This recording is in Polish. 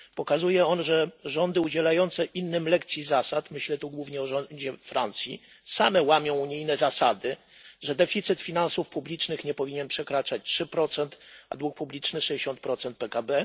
Pokazuje ono, że rządy udzielające innym lekcji zasad myślę tu głównie o rządzie Francji same łamią unijne zasady, że deficyt finansów publicznych nie powinien przekraczać 3 a dług publiczny 60 PKB.